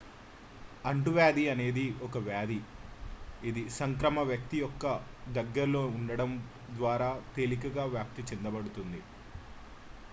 అంటువ్యాధి అనేది ఒక వ్యాధి ఇది సంక్రామ్యవ్యక్తి యొక్క దగ్గరల్లో ఉండటం ద్వారా తేలికగా వ్యాప్తి చేయబడుతుంది